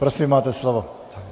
Prosím, máte slovo.